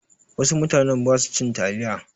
Wasu mutanen ba su cin taliya.